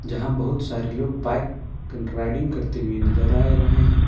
जहां बहुत सारे लोग बाइक राइडिंग करते हुए नजर आ रहे हैं।